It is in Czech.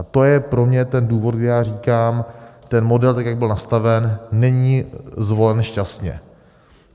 A to je pro mě ten důvod, kdy já říkám, ten model, tak jak byl nastaven, není zvolen šťastně.